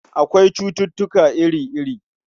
Akwai cututtuka iri-iri.